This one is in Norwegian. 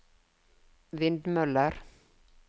vindmøller